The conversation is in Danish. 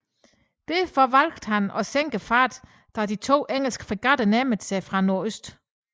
Derfor valgte han at sænke farten da de to engelske fregatter nærmede sig fra nordøst